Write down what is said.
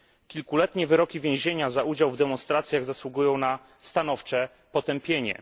Kilkuletnie wyroki więzienia za udział w demonstracjach zasługują na stanowcze potępienie.